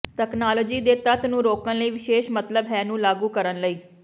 technology ਦੇ ਤੱਤ ਨੂੰ ਰੋਕਣ ਲਈ ਵਿਸ਼ੇਸ਼ ਮਤਲਬ ਹੈ ਨੂੰ ਲਾਗੂ ਕਰਨ ਲਈ ਹੈ